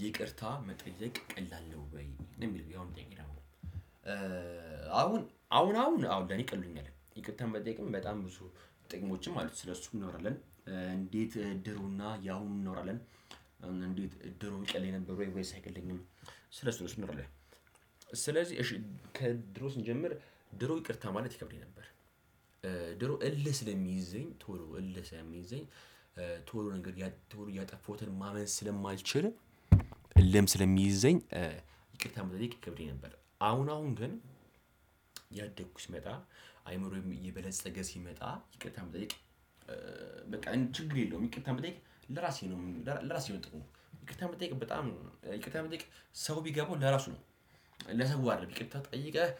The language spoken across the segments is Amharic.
ይቅርታ መጠየቅ ቀላል ነው? ወይ የሚል ቢሆን ጠይቅ ይላል አሁን አሁን አሁን አሁን ለኔ ይቅሉኛል ይቅርታን በጠየቅም በጣም ብዙ ጥቅሞችም አሉት ስለሱ እንኖራለን። እንዴት ድሮና ያሁኑን እናወራለን እንዴት ድሮ ይቀለኝ ነበር ወይ ወይስ አይቀሐኝም ስለሱ ነው ስንል። ስለዚህ እሺ ከድሮ ስንጀምር ድሮ ይቅርታ ማለት ይከብደኝ ነበር። ድሮ እልህ ስለሚይዘኝ ቶሎ እልህ ስለሚይዘኝ ቶሎ ነገር ቶሎ እያጠፋሁትን ማመን ስለማልችልም። እልህም ስለሚይዘኝ ይቅርታ መጠየቅ ይከብደኝ ነበር። አሁን አሁን ግን ይመጣል አይምሮየም እየበለፀገ ሲመጣ ይቅርታ መጠየቅ በቃ ችግር የለውም። ይቅርታ የምትጠይቅ ለራሴ ነው ለራሴ የምጠይቅ እንቅልፍ በጣም ይቅርታ መጠየቅ ሰው ቢገባው ለራሱ ነው። ለሰው አይደለም ቅድምታ ጠይቀህ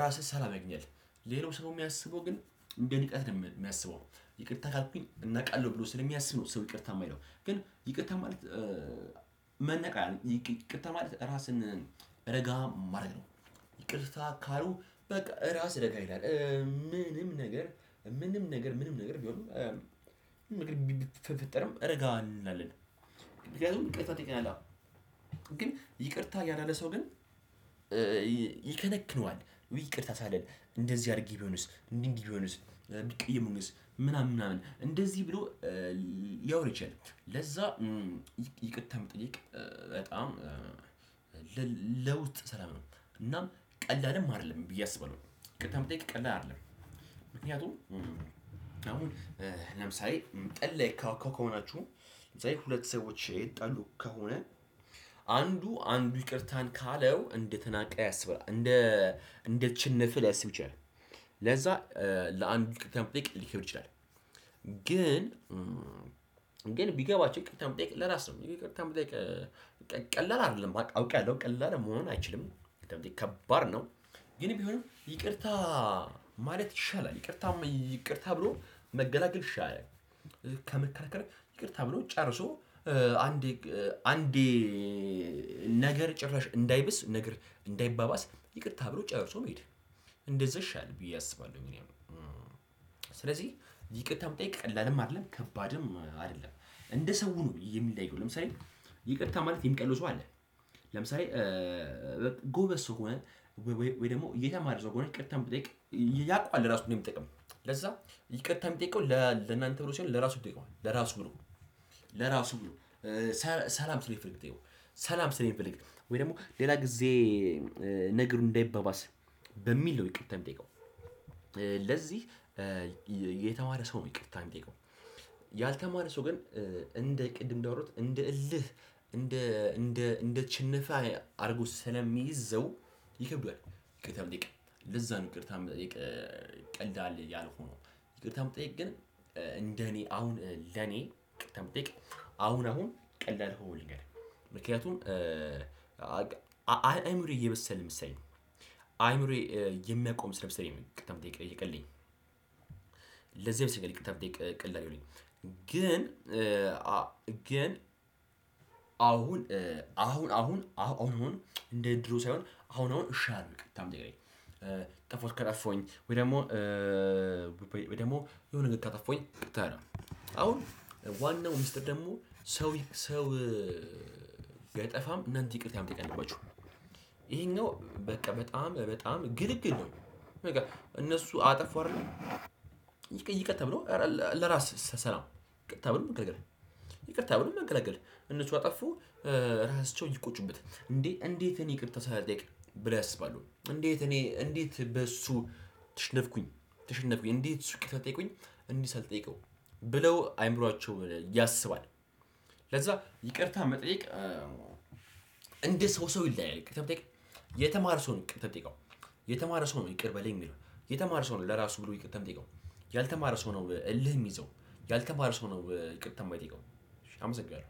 ራስህ ሰላም ያግኛል። ሌላው ሰው የሚያስበው ግን እንደ ንቀት ነው የሚያስበው። ይቅርታ ካልኩኝ እናቃለሁ ብሎ ስለሚያስብ ነው። ሰው ይቅርታ የማይለው ግን ይቅርታ ማለት መናቅ ይቅርታ ራስን ረጋ ማድረግ ነው። ይቅርታ ካሉ በቃ ራስ ረጋ ይላል። ምንም ነገር ምንም ነገር ምንም ነገር ቢሆንም ብትፈጠርም እረጋለን አለን። ምክንያቱም ይቅርታ ጠይቀናል። ግን ይቅርታ ያላለ ሰው ግን ይከነክነዋል። ይቅርታ ሳልል እንደዚህ አድርጊ ቢሆንስ ምን እንዲህ ቢሆንስ ቢቀየሙንስ ምናምን ምናምን እንደዚህ ብሎ። ያወርቻል ለዛ ይቅተም መጠየቅ በጣም ለውጥ ስራ ነው። እናም ቀላልም አይደለም ብዬ አስበለው ይቅርታ መጠየቅ ቀላል አይደለም። ምክንያቱም አሁን ለምሳሌ ጠብ ከሆናችሁ ዘይ ሁለት ሰዎች ይጠሉ ከሆነ አንዱ አንዱ ይቅርታን ካለው እንደተናቀ ያስባል። እንደ እንደችንፍ ሊያስብ ይችላል። ለዛ ለአንድ ይቅርታ መጠየቅ ሊከብድ ይችላል። ግን ግን ቢገባቸው ይቅርታ የምትጠይቀው ለራስ ነው። ይቅርታ በቃ ቀላል አይደለም አውቄ ያለው ቀላል መሆን አይችልም። ከባድ ነው። ግን ቢሆንም ይቅርታ ማለት ይሻላል ይቅርታ ይቅርታ ብሎ መገላገል ይሻላል። ከመከራከር ይቅር ተብሎ ጨርሶ አንዴ አንዴ ነገር ጭራሽ እንዳይብስ ነገር እንዳይባባስ ይቅርታ ብሎ ጨርሶ መሄድ። እንደዛ ይሻለሁ ብዬ አስባለሁ። ምንም ይቅርታ የምትጠይቀው ቀላልም አይደለም ከባድም አይደለም እንደ ሰው ነው የሚለየው ለምሳሌ ይቅርታ ማለት የሚቀልሱ ሰው አለ። ለምሳሌ ጎበዝ ሰው ሆነ ወይ ደግሞ የተማረ ሰው በእውነት ይቅርታ የምትጠይቀው ያውቃል ለራሱ እንዴጠደሚጠቀም። ለዛ ይቅርታ የሚጠይቀው ለእናንተ ብሎ ሳይሆን ለራሱ ተጠይቀዋል ለራሱ ብሎ ለራሱ ብሎ ሰላም ስለሚፈልግ። ሰላም ስለሚፈልግ ወይ ደግሞ ሌላ ጊዜ ነገሩን እንዳይባባስ በሚል ነው። ይቅርታ የምጠሚጠይቀው። ለዚህ የተማረ ሰው ነው ይቅር ታይም የሚጠይቀው። ያልተማረ ሰው ግን እንደ ቅድም እንዳወራሁት እንደ እልህ እንደ እንደ ችንፋ አድርጎ ስለሚይዘው ይከብደዋል። በተለይ ለዛ ነው ይቅርታ በተለይ ቀላል ያልሆነው። ይቅርታ የምትጠይቅ ግን እንደኔ አሁን ለኔ ቀጥታ አሁን አሁን ቀላል ሆኖ ልንገርህ ምክንያቱም አይምሮዬ እየበሰለ መሰለኝ። አይምሮዬ የሚያቀውም ስለመሰለኝ ነው ይቅርታ መጠየቅ የሚቀለኝ። ለዛ አይነት ሰው ጋር የተጠየቅክ ቅልጥ አይሆንም። ግን አሁን አሁን አሁን አሁን እንደ ድሮ ሳይሆን አሁን አሁን እሻርቅ ታምጣለህ። ጥፋት ካጠፋሁኝ ወይ ደግሞ ወይ ደግሞ የሆነ ነገር ካጠፋሁኝ ታዲያ አሁን ዋናው ሚስጥር ደግሞ ሰው ሰው ካጠፋም እናንተ ይቅርታ የምትቀላችሁ ነው። በቃ በጣም በጣም ግልግል ነው። እነሱ አጠፋው አይደለም ይቅርታ ብሎ ለራስ ሰላም ይቅርታ ብሎ መገለግል። ይቅርታ ብሎ መገላገል እነሱ ካጠፉ ራሳቸውን ይቆጩበታል። እንዴ እንዴት እኔ ይቅርታ ሳልጠይቅ ብለህ ያስባሉ እንዴት እኔ እንዴት በሱ ተሸነፍኩኝ ተሸነፍኩኝ እንዴት እሱ ይቅርታ ጠይቁኝ እኔ ሳልጠይቀው ብለው አይምሯቸው ያስባል። ለዛ ይቅርታ መጠየቅ እንደ ሰው ሰው ይለያያልታ። የተማር ሰው ነው ይቅርታ የሚጠይቀው። የተማረ ሰው ነው ይቅር በለኝ የሚለው። የተማረ ሰው ነው ለራሱ ብሎ ይቅርታ የሚጠይቀው። ያልተማረ ሰው ነው እልህ የሚይዘው። ያልተማረ ሰው ነው ይቅርታ የማይጠይቀው። አመሰግናለሁ።